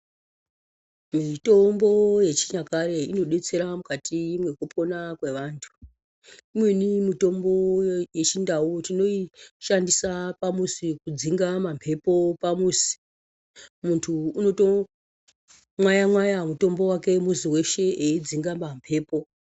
Mitombo yechinyakare inodetsera mukati mwekupona kwevantu. Imweni mitombo yechindau tinoishandisa pamuzi kudzinga mamhepo pamuzi. Muntu unotomwaya mwaya mutombo wake muzi weshe eidzinga mamhepo.